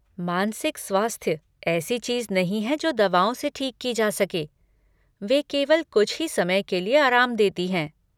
मानसिक स्वास्थ्य ऐसी चीज नहीं है जो दवाओं से ठीक की जा सके, वे केवल कुछ ही समय के लिए आराम देती हैं।